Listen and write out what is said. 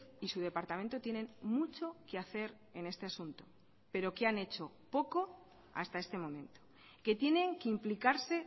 y su departamento tienen mucho que hacer en este asunto pero que han hecho poco hasta este momento que tienen que implicarse